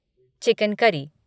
chicken curry